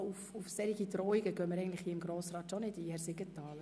Selbstverständlich kann sie aber auch sofort Stellung nehmen.